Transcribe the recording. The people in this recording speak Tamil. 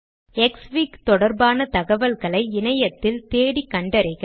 க்ஸ்ஃபிக் தொடர்பான தகவல்களை இணையத்தில் தேடி கண்டறிக